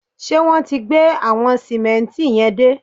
Ṣé wọn ti gbé àwọn sìmẹ́ǹtì yẹn dé?